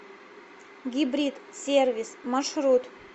гибрид сервис маршрут